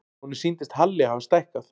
Honum sýndist Halli hafa stækkað.